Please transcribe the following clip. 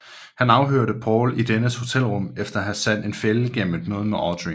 Han afhørte Paul i dennes hotelrum efter at have sat en fælde gennem et møde med Audrey